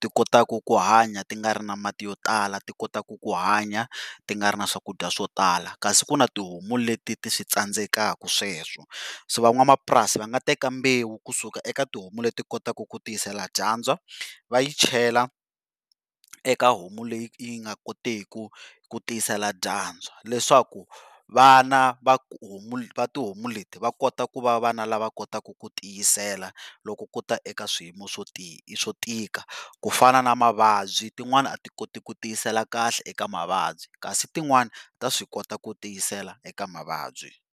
Ti kotaka ku hanya ti nga ri na mati yo tala ti kotaka ku hanya ti nga ri na swakudya swo tala, kasi ku na tihomu leti ti switsandzekaku sweswo. So van'wamapurasi va nga teka mbewu kusuka eka tihomu leti kotaka ku tiyisela dyandza va yi chela eka homu leyi nga kotiki ku tisela dyandza leswaku vana va va tihomu leti va kota ku va vana lava kotaku ku tiyisela loko kuta eka swiyimo swo tika. Ku fana na mavabyi tin'wani a ti koti ku tiyisela kahle eka mavabyi jasi tin'wani ta swi kota ku tiyisela eka mavabyi.